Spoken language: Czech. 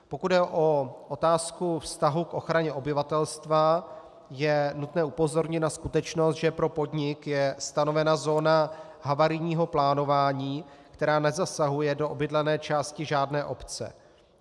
Pokud jde o otázku vztahu k ochraně obyvatelstva, je nutné upozornit na skutečnost, že pro podnik je stanovena zóna havarijního plánování, která nezasahuje do obydlené části žádné obce.